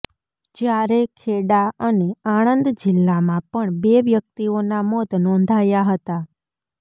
જયારે ખેડા અને આણંદ જીલ્લામાં પણ બે વ્યકિતઓના મોત નોંધાયા હતા